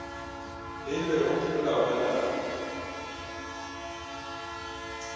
beilwego ke molao wa naga